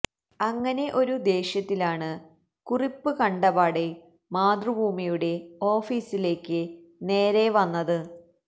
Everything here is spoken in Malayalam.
അങ്ങനെ ഒരു ദേഷ്യത്തിലാണ് കുറിപ്പ് കണ്ടപാടെ മാതൃഭൂമിയുടെ ഓഫീസിലേക്ക് നേരെ വന്നത്